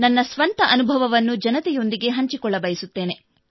ನನ್ನ ಸ್ವಂತ ಅನುಭವವನ್ನು ಜನತೆಯೊಂದಿಗೆ ಹಂಚಿಕೊಳ್ಳಬಯಸುತ್ತೇನೆ